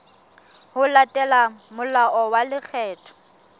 ho latela molao wa lekgetho